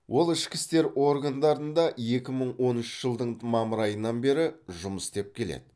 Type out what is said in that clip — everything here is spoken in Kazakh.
ол ішкі істер органдарында екі мың он үш жылдың мамыр айынан бері жұмыс істеп келеді